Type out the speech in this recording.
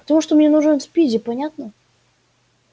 потому что мне нужен спиди понятно